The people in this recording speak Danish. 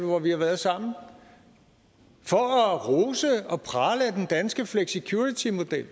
hvor vi har været sammen for at rose og prale af den danske flexicuritymodel